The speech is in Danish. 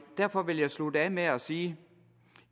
derfor vil jeg slutte af med at sige